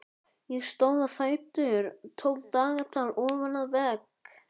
Ég stóð á fætur og tók dagatal ofan af vegg.